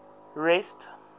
rest